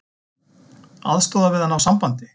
Aðstoða við að ná sambandi